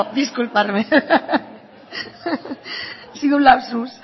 disculparme ha sido un lapsus